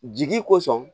Jigi kosɔn